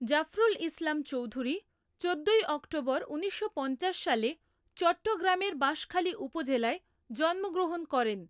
জাফরুল ইসলাম চৌধুরী চোদ্দোই অক্টোবর ঊনিশশো পঞ্চাশ সালে চট্টগ্রামের বাশঁখালী উপজেলায় জন্মগ্রহণ করেন।